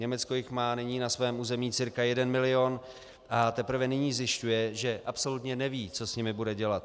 Německo jich má nyní na svém území cca 1 milion a teprve nyní zjišťuje, že absolutně neví, co s nimi bude dělat.